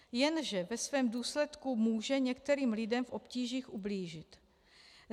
Jenže ve svém důsledku může některým lidem v obtížích ublížit.